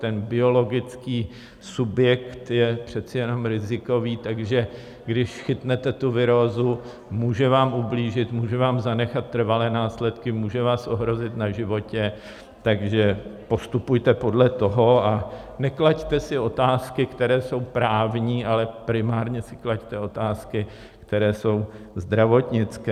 Ten biologický subjekt je přece jenom rizikový, takže když chytnete tu virózu, může vám ublížit, může vám zanechat trvalé následky, může vás ohrozit na životě, takže postupujte podle toho a neklaďte si otázky, které jsou právní, ale primárně si klaďte otázky, které jsou zdravotnické.